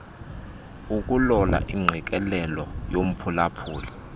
ukulola ingqikelelo yomphulaphuli